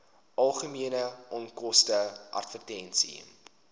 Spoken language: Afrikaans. algemene onkoste advertensies